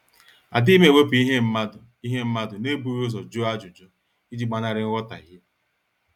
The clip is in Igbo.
Adighim ewepu ihe mmadụ ihe mmadụ n'ebughi ụzọ jụọ ajụjụ, iji gbanari nghotahie